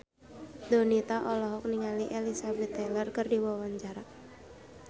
Donita olohok ningali Elizabeth Taylor keur diwawancara